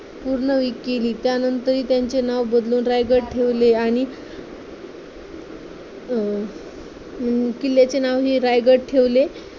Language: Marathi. पूर्ण केली त्यानंतर ही त्यांचे नाव बदलून रायगड ठेवले आणि अं अं किल्ल्याचे नाव हे रायगड ठेवले.